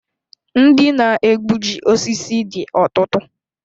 Ndị na egbuji osisi dị ọtụtụ